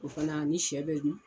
O fana ani shɛ bɛ dun.